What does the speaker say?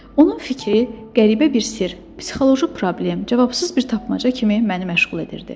Onun fikri qəribə bir sirr, psixoloji problem, cavabsız bir tapmaca kimi məni məşğul edirdi.